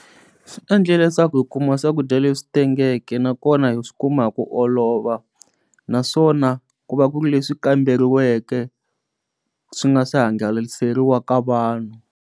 Swi endla leswaku hi kuma swakudya leswi tengeke nakona hi swi kuma hi ku olova naswona ku va ku ri leswi kamberiweke swi nga swi hangaleseriwa ka vanhu.